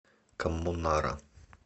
коммунара